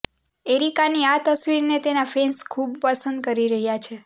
એરિકાની આ તસવીરને તેના ફેન્સ ખૂબ પસંદ કરી રહ્યા છે